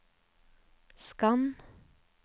skann